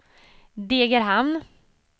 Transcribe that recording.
Degerhamn